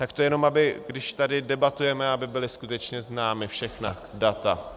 Tak to jenom když tady debatujeme, aby byla skutečně známa všechna data.